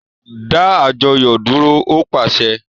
Da àjọyọ dúró! O paṣẹ̀